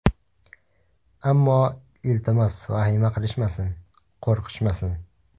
Ammo, iltimos vahima qilishmasin, qo‘rqishmasin.